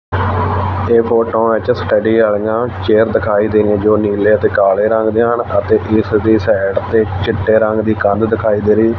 ਇਹ ਫੋਟੋਆਂ ਵਿੱਚ ਸਟੱਡੀ ਵਾਲਿਆਂ ਚੇਅਰ ਦਿਖਾਈ ਦੇ ਰਹੀਆ ਨੀਲੇ ਤੇ ਕਾਲੇ ਰੰਗ ਦੀਆਂ ਹਨ ਅਤੇ ਪਿੱਛੇ ਜੀ ਸਾਈਡ ਤੇ ਇੱਕ ਚਿੱਟੇ ਰੰਗ ਦੀ ਕੰਧ ਦਿਖਾਈ ਦੇ ਰਹੀ।